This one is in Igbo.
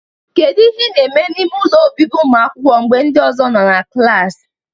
Kedu ihe ị na-eme n'ime ụlọ obibi ụmụakwụkwọ mgbe ndị ọzọ nọ na klas?